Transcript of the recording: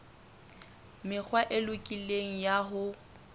mekgwa e lokileng ya ho